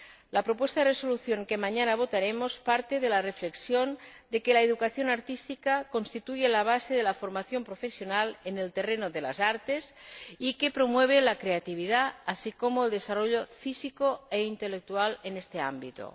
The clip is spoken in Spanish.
La propuesta de resolución, que mañana votaremos, parte de la reflexión de que la educación artística constituye la base de la formación profesional en el terreno de las artes y promueve la creatividad, así como el desarrollo físico e intelectual en este ámbito